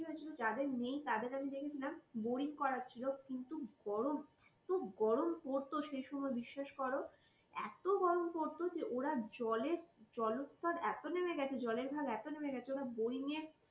কি হয়েছিল যাদের নেই তাদের আমি দেখেছিলাম boring করা হচ্ছিল কিন্তু গরম এত গরম পড়ত সেই সময় বিশ্বাস করো এত গরম পড়তো যে ওরা জলের জলস্তর এত নেমে গেছে জল ঘাত এত নেমে গেছে যে boring এর